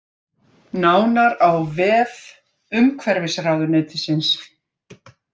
Nánar á vef umhverfisráðuneytisins